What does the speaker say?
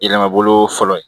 Yɛlɛma bolo fɔlɔ ye